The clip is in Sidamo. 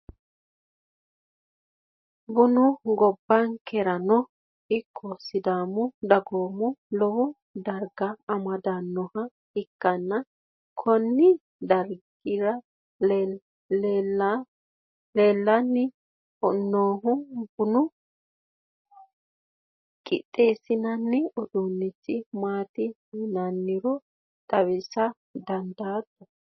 bunu gombankerano ikko sidaamu giddo lowo darga amadannoha ikkanna, konne darga leellanni noohu buna qixxeessinanni uduunnichi maati yinannihoro xawisa dandaatto?